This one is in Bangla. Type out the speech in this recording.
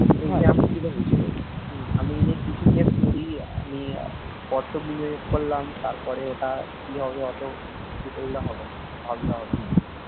হম আমি যে কিছু যে পুঁজি আমি কত নিয়োগ করলাম তারপরে ওটা কি হবে অত ইয়ে করলে হবে না ভাবলে হবেনা